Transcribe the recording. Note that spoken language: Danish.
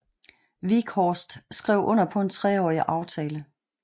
Wieghorst skrev under på en treårig aftale